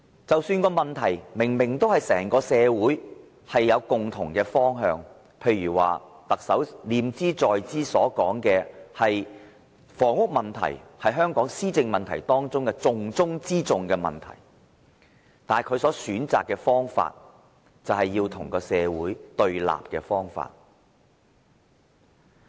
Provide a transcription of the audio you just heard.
即使某項問題是整個社會明明已有共同方向，例如特首念茲在茲所說的，就是房屋問題是香港施政的重中之重，但他選擇了與社會對立的方法。